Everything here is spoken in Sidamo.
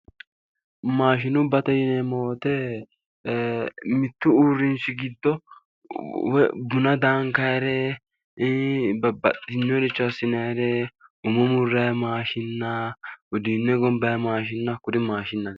Maashinubbate yineemmo wote mittu uurrinsha giddo woyi buna daankaayiire babbaxxinnoricho assinaayiire umo murrayi maashinna, uduunne gombayi maashinna hakkuri maashinnate.